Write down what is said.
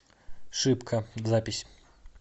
шипка запись